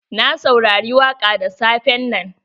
Na saurari waƙa da safen nan.